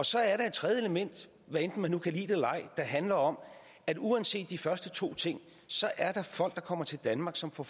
så er der et tredje element hvad enten man nu kan lide det eller ej der handler om at uanset de første to ting så er der folk der kommer til danmark som får